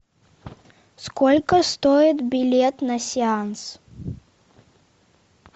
сколько стоит билет на сеанс